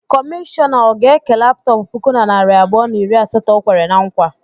Kọmishọna ọ ga-eke laptọp puku na narị abụọ na iri asatọ o kwere na nkwa?